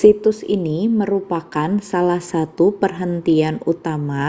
situs ini merupakan salah satu perhentian utama